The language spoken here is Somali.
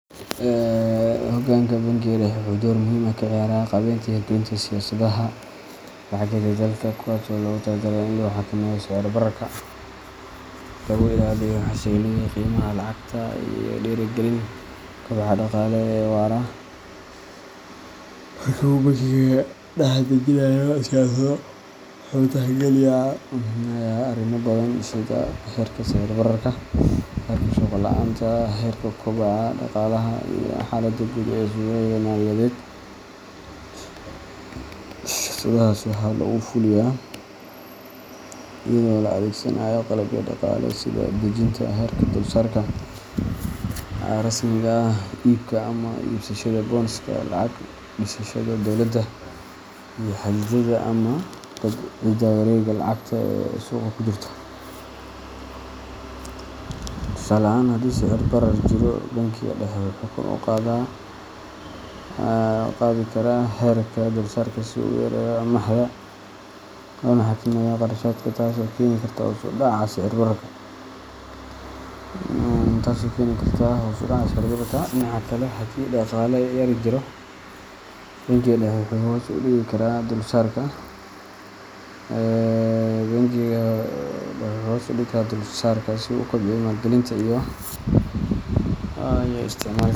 Hoggaanka bangiga dhexe wuxuu door muhiim ah ka ciyaaraa qaabeynta iyo hirgelinta siyaasadaha lacageed ee dalka, kuwaas oo loogu talagalay in lagu xakameeyo sicir-bararka, lagu ilaaliyo xasilloonida qiimaha lacagta, lana dhiirrigeliyo kobaca dhaqaale ee waara. Marka uu bangiga dhexe dejinayo siyaasado, wuxuu tixgelinayaa arrimo badan sida heerka sicir-bararka, heerka shaqo la’aanta, heerka kobaca dhaqaalaha, iyo xaaladda guud ee suuqyada maaliyadeed. Siyaasadahaas waxaa lagu fuliyaa iyada oo la adeegsanayo qalabyo dhaqaale sida dejinta heerka dulsaarka rasmiga ah, iibka ama iibsashada bondska lacag-dhigashada dawladda, iyo xaddidaadda ama dabciidda wareegga lacagta ee suuqa ku jirta. Tusaale ahaan, haddii sicir-barar jiro, bangiga dhexe wuxuu kor u qaadi karaa heerka dulsaarka si uu u yareeyo amaahda loona xakameeyo kharashaadka, taasoo keeni karta hoos u dhaca sicir-bararka. Dhinaca kale, haddii dhaqaale yari jiro, bangiga dhexe wuxuu hoos u dhigi karaa dulsaarka si uu u kobciyo maalgelinta iyo isticmaalka.